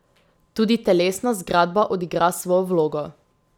Tudi telesna zgradba odigra svojo vlogo.